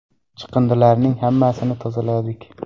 Chiqindilarning hammasini tozaladik.